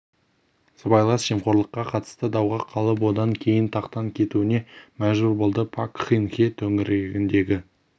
сыбайлас жемқорлыққа қатысты дауға қалып одан кейін тақтан кетуіне мәжбүр болды пак кын хе төңірегіндегі